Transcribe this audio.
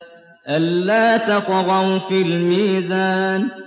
أَلَّا تَطْغَوْا فِي الْمِيزَانِ